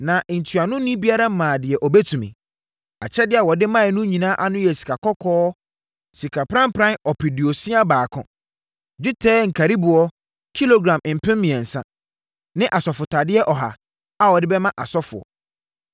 Na ntuanoni biara maa deɛ ɔbɛtumi. Akyɛdeɛ a wɔde maeɛ no nyinaa ano sii sikakɔkɔɔ sika pranpran ɔpeduosia baako (61,000), dwetɛ nkariboɔ kilogram mpem mmiɛnsa (3,000) ne asɔfotadeɛ ɔha (100) a wɔde bɛma asɔfoɔ.